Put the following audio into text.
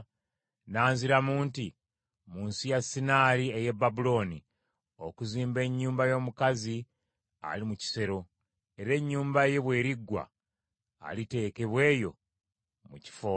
N’anziramu nti, “Mu nsi ya Sinaali ey’e Babulooni, okuzimba ennyumba y’omukazi ali mu kisero, era ennyumba ye bw’eriggwa, aliteekebwa eyo mu kifo kye.”